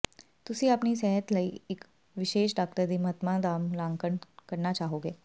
ਤੁਸੀਂ ਆਪਣੀ ਸਿਹਤ ਲਈ ਇਸ ਵਿਸ਼ੇਸ਼ ਡਾਕਟਰ ਦੀ ਮਹੱਤਤਾ ਦਾ ਮੁਲਾਂਕਣ ਕਰਨਾ ਚਾਹੋਗੇ